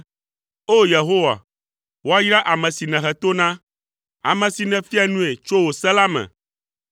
O, Yehowa, woayra ame si nèhe to na, ame si nèfia nui tso wò se la me,